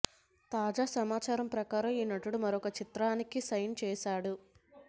తాజా సమాచారం ప్రకారం ఈ నటుడు మరొక చిత్రానికి సైన్ చేసాడు